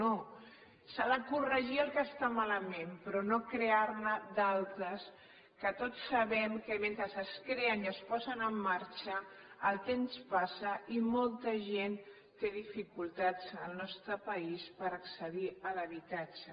no s’ha de corregir el que està malament però no crear ne d’altres que tots sabem que mentre es creen i es posen en marxa el temps passa i molta gent té dificultats al nostre país per accedir a l’habitatge